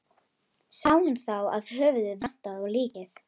Sá hann þá að höfuðið vantaði á líkið.